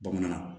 Bamanankan na